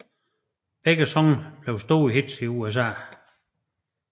Begge sange blev store hits i USA